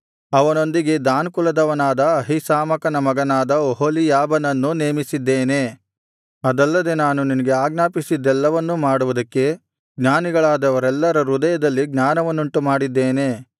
ಅವನೊಂದಿಗೆ ದಾನ್ ಕುಲದವನಾದ ಅಹೀಸಾಮಾಕನ ಮಗನಾದ ಒಹೋಲೀಯಾಬನನ್ನೂ ನೇಮಿಸಿದ್ದೇನೆ ಅದಲ್ಲದೆ ನಾನು ನಿನಗೆ ಆಜ್ಞಾಪಿಸಿದ್ದೆಲ್ಲವನ್ನೂ ಮಾಡುವುದಕ್ಕೆ ಜ್ಞಾನಿಗಳಾದವರೆಲ್ಲರ ಹೃದಯಗಳಲ್ಲಿ ಜ್ಞಾನವನ್ನುಂಟುಮಾಡಿದ್ದೇನೆ